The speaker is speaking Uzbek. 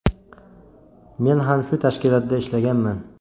Men ham shu tashkilotda ishlaganman.